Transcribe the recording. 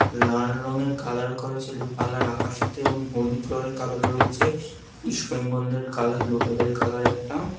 লাল রঙের কালার করা ছিল কালার আকাশিতে এবং হলুদ রঙের কালার রয়েছে । ইস্ট বেঙ্গাল -দের কালার লতাদের কালার একটা।